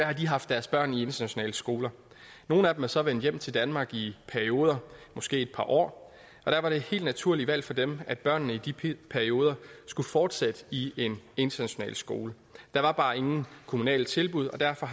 har haft deres børn i internationale skoler nogle af dem er så vendt hjem til danmark i perioder måske i et par år og der var det helt naturlige valg for dem at børnene i de perioder skulle fortsætte i en international skole der var bare ingen kommunale tilbud og derfor